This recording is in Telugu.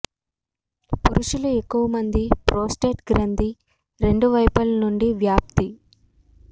పురుషులు ఎక్కువ మంది ప్రోస్టేట్ గ్రంధి రెండు వైపులా నుండి వ్యాప్తి